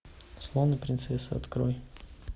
слон и принцесса открой